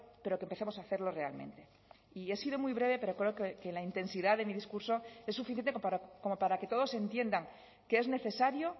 pero que empecemos a hacerlo realmente y he sido muy breve pero creo que la intensidad de mi discurso es suficiente como para que todos entiendan que es necesario